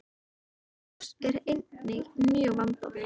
Það hús er einnig mjög vandað.